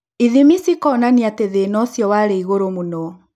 Ithimi cikĩonania atĩ thĩna ũcio warĩ igũrũ mũno